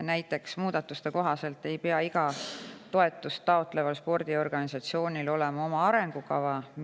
Näiteks ei pea muudatuste kohaselt igal toetust taotleval spordiorganisatsioonil olema oma arengukava.